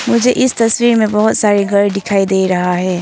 मुझे इस तस्वीर में बहुत सारे गर दिखाई दे रहा है।